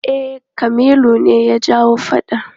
E, Kamilu ne ya jawo faɗan.